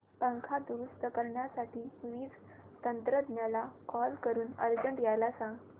पंखा दुरुस्त करण्यासाठी वीज तंत्रज्ञला कॉल करून अर्जंट यायला सांग